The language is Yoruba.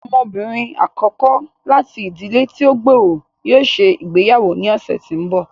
Ọmọbinrin akọkọ láti ìdílé ti o gb'ọrọ yóò ṣe ìgbéyàwó ní ọsẹ tí n bọ.